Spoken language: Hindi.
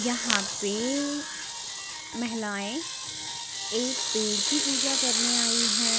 यहाँ प महिलाए एक पेड़ की पूजा करने आयी है।